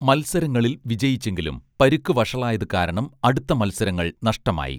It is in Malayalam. മൽസരങ്ങളിൽ വിജയിച്ചെങ്കിലും പരുക്കു വഷളായതു കാരണം അടുത്ത മൽസരങ്ങൾ നഷ്ടമായി